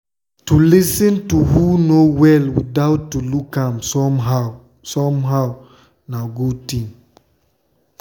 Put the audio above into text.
to lis ten to who no well without to look am somehow am somehow na good thing.